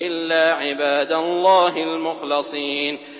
إِلَّا عِبَادَ اللَّهِ الْمُخْلَصِينَ